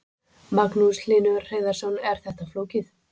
Magnús Hlynur Hreiðarsson: Er þetta flókið?